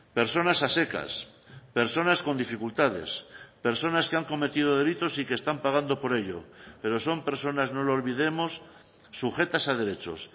personas a secas personas con dificultades personas que han cometido delitos y que están pagando por ello pero son personas no lo olvidemos sujetas a derechos